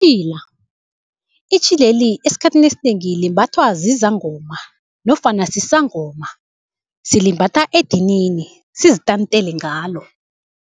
itjhileli esikhathini esinengi, limbathwa zizangoma nofana sisangoma silimbatha edinini sizitantele ngalo.